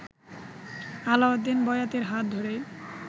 আলাউদ্দিন বয়াতির হাত ধরেই